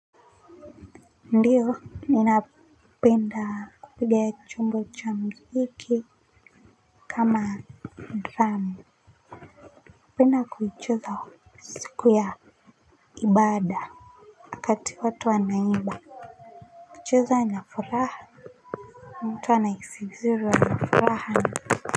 Ndio ninapenda kupiga chombo cha muziki kama drum napenda kuicheza siku ya ibada wakati watu wanaimba hucheza na furaha mtu anahisi vizuri awe na furaha.